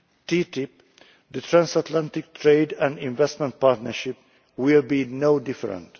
TTIP the Transatlantic Trade and Investment Partnership will be no different.